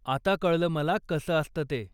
आता कळल मला कसं असतं ते.